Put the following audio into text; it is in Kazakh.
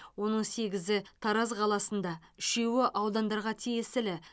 оның сегізі тараз қаласында үшеуі аудандарға тиесілі